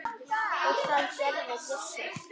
Og það gerði Gissur.